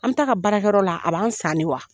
An ta ka baarakɛyɔrɔ la a b'an san nin wa?